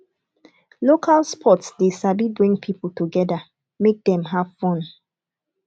local sports dey sabi bring people together make dem have fun